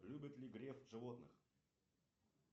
любит ли греф животных